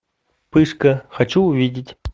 пышка хочу увидеть